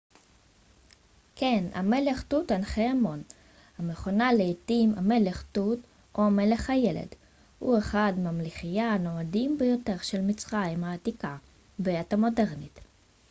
כן המלך תות ענח' אמון המכונה לעתים המלך תות או המלך הילד הוא אחד ממלכיה הנודעים ביותר של מצרים העתיקה בעת המודרנית